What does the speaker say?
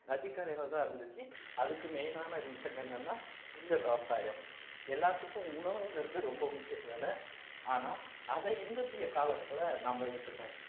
நதிக்கரையிலதான் இருந்துச்சு அதுக்கு main ஆன reason என்னன்னா இந்த விவசாயம் எல்லாத்துக்கும் உணவுங்கிறது ரொம்ப முக்கியம் தான ஆனா அதை இந்த காலத்துல நாம விட்டுட்டோம்